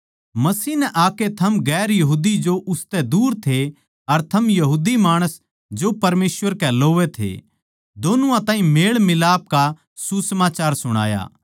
मसीह नै आकै थम गैर यहूदी जो उसतै दूर थे अर थम यहूदी माणस जो परमेसवर कै लोवै थे दोनुआ ताहीं मेल मिलाप का सुसमाचार सुणाया